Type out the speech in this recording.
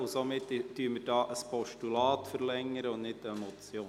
Somit verlängern wir hier ein Postulat und nicht eine Motion.